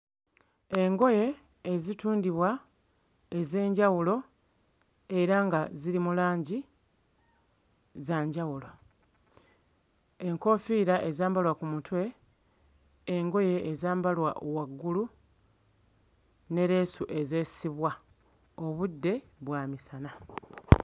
Engoye ezitundibwa ez'enjawulo era nga ziri mu langi za njawulo enkoofiira ezambalwa ku mutwe, engoye ezambalwa waggulu ne leesu ezeesibwa obudde bwa misana.